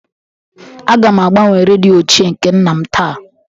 Aga m agbanwe redio ochie nke nna m taa